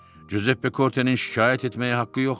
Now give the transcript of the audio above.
Cüzeppe Kortenin şikayət etməyə haqqı yoxdur.